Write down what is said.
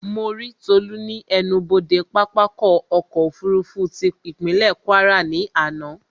Mo rí Tolú ní ẹnubodè pápákọ̀ ọ̀kọ òfurufú tí ìpínlè Kwara ní àná